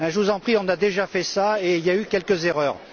Je vous en prie, on a déjà fait cela, et il y a eu quelques erreurs.